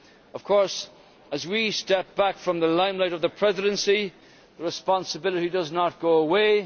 Of course, as we step back from the limelight of the Presidency, the responsibility does not go away